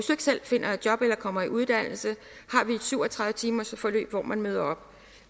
selv finder et job eller kommer i uddannelse har vi et syv og tredive timers forløb hvor man møder op